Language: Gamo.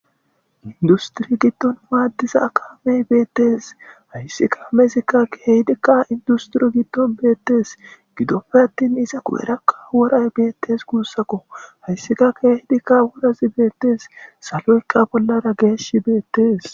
Industri giddon maaddiza akaamey beettees hayssikka mezikka keydikka industiriyo giddon beettees gidoppe attin iza ku7erakka woray beettes guussako hayssika keeydikka worazi beettees saloykka bollara geesh beettees.